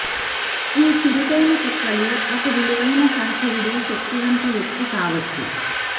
ఈ చురుకైన కుక్కలు ఒక విలువైన సహచరుడు శక్తివంత వ్యక్తి కావచ్చు